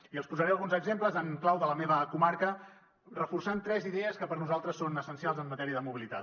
i els en posaré alguns exemples en clau de la meva comarca que reforcen tres idees que per nosaltres són essencials en matèria de mobilitat